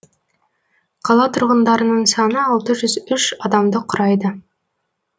қала тұрғындарының саны алты жүз үш адамды құрайды